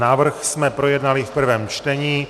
Návrh jsme projednali v prvém čtení.